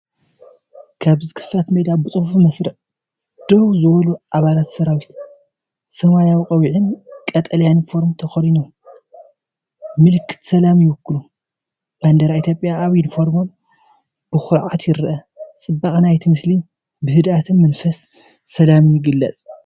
ኣብዚ ክፉት ሜዳ ብጽፉፍ መስርዕ ደው ዝበሉ ኣባላት ሰራዊት፡ ሰማያዊ ቆቢዕን ቀጠልያ ዩኒፎርምን ተኸዲኖም፡ ምልክት ሰላም ይውክሉ። ባንዴራ ኢትዮጵያ ኣብ ዩኒፎርሞም ብኹርዓት ይርአ፤ ጽባቐ ናይቲ ምስሊ ብህድኣትን መንፈስ ሰላምን ይግለጽ።